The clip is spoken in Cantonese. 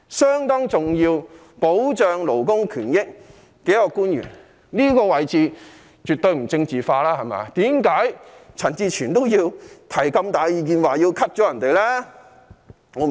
他是保障勞工權益方面相當重要的官員，這個位置絕對不政治化，為何陳志全議員仍要提出削減其開支？